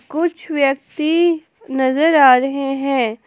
कुछ व्यक्ति नजर आ रहे हैं।